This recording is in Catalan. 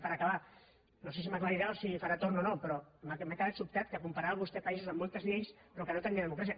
i per acabar no sé si m’ho aclarirà o si farà torn o no però m’he quedat sobtat que comparés vostè països amb moltes lleis però que no tenien democràcia